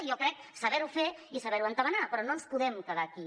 jo crec saber ho fer i saber ho entabanar però no ens podem quedar aquí